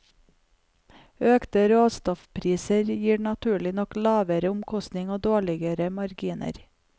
Økte råstoffpriser gir naturlig nok lavere omsetning og dårligere marginer.